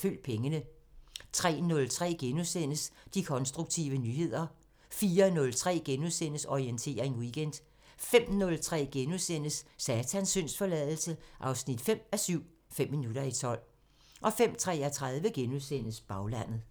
Følg pengene * 03:03: De konstruktive nyheder * 04:03: Orientering Weekend * 05:03: Satans syndsforladelse 5:7 – Fem minutter i tolv * 05:33: Baglandet *